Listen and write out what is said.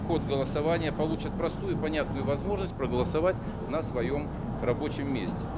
ход голосования получат простую понятную возможность проголосовать на своём рабочем месте